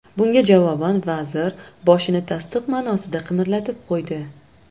Bunga javoban vazir boshini tasdiq ma’nosida qimirlatib qo‘ydi.